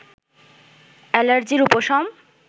অ্যালার্জির উপশম